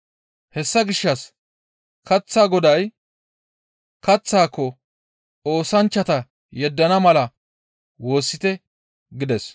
Hessa gishshas kaththaa Goday kaththaako oosanchchata yeddana mala woossite!» gides.